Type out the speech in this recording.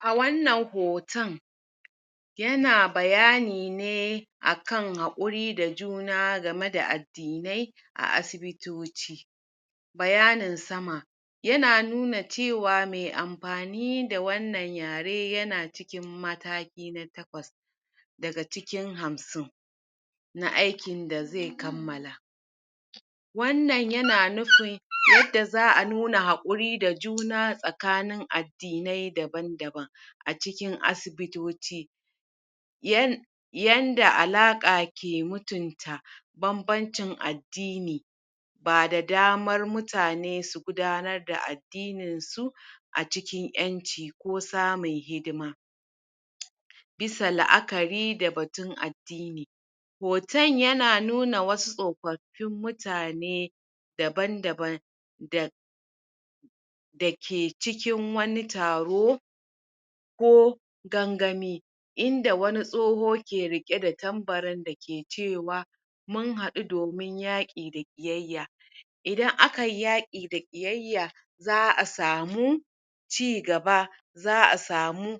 A wannan hoton yana bayani ne akan haƙuri da juna game da addinai a asibitoci bayanin sama yana nuna cewa mai amfani da wannan yare yana mataki na takwas daga cikin hamsin na aikin da zai kammala wannan yana nufin yanda za a nuna hakuri da juna tsakanin addinai daban daban a cikin asibitoci yan yanda alaƙa ke mutunta banbancin addini ba da damar mutane su gudanar da addinin su a cikin ƴanci ko samun hidima bisa la'akari da batun ad hoton yana nuna wasu tsofaffin mutane daban-daban da da ke cikin wani taro ko gangami inda wani tsoho ke riƙe da tambarin da ke cewa mun haɗu domin yaƙi da ƙiyayya idan akayi yaƙi da ƙiyayya za a samu cigaba za a samu